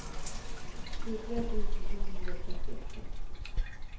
tjuetre tusen to hundre og trettiåtte